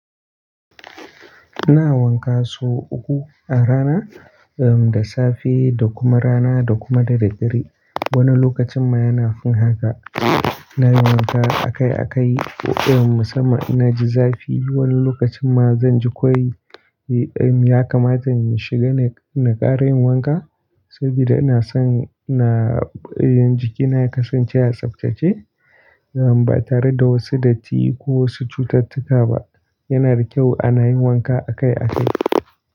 Ina wanka sau uku a rana, da safe da kuma rana, da kuma da dare. Wani lokacin ma yana fin haka, ina yin wanka akai-akai, ko irin musamman in na ji zafi, wani lokacin ma zan ji kowai, ya kamata in shiga na ƙara yin wanka, saboda ina son na, jikina ya kasance a tsaftace, ba tare da wasu datti ko wasu cututtuka ba. Yana da kyau ana yin wanka akai-akai.